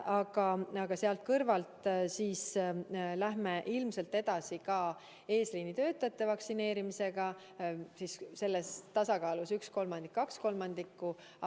Aga selle kõrval me lähme ilmselt edasi ka eesliinitöötajate vaktsineerimisega osakaalus üks kolmandik ja kaks kolmandikku.